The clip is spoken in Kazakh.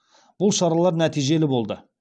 бұл шаралар нәтижелі болды